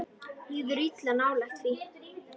Líður illa nálægt því.